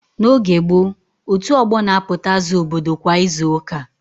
N'oge gboo, otu ọgbọ na-apụta aza obodo kwa izu ụka.